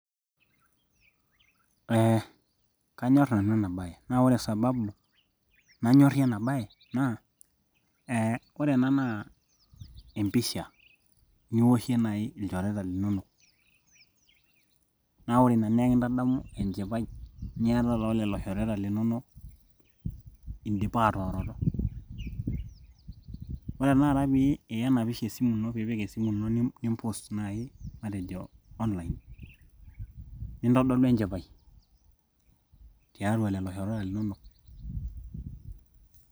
Ee kanyor nanu ena baye naa ore Sababu nanyorie enabaye naa ee ore ena naa empisha niwoshie naaji ilchoreta linonok naa ore ina naa ekintadamu enchipai niatata olelo shoreta linonok indipaa atooroto ore tenakata pee iya enapisha esimu ino pee ipik esimu ino ni post naaji matejo online nintodolu enchipai tialo lelo shoreta linonok .